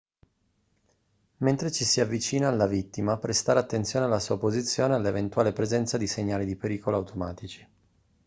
mentre ci si avvicina alla vittima prestare attenzione alla sua posizione e all'eventuale presenza di segnali di pericolo automatici